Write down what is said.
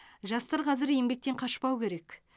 жастар қазір еңбектен қашпау керек